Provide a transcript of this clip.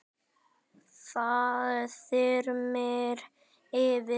Það þyrmir yfir.